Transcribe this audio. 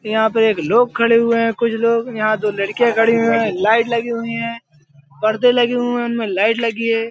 यहाँ पे एक लोग खड़े हुए हैं कुछ लोग| यहाँ दो लड़कियां खड़ी हुई हैं। लाइट लगी हुई हैं पर्दे लगे हुए हैं उनमे लाइट लगी है|